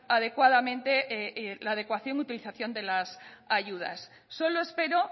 adecuadamente la adecuación utilización de las ayudas solo espero